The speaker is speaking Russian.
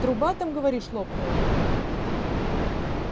труба там говоришь лопнула